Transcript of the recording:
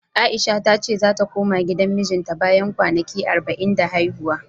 A'isha ta ce zata koma gidan mijinta bayan kwanaki arba'in da haihuwa.